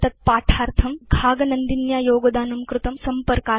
एतद्पाठार्थं घाग नन्दिन्या योगदानं कृतम्